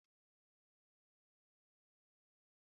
Azakwala ilu ịlu ahu!